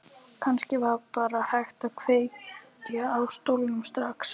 Kannski var bara hægt að kveikja í stólnum strax.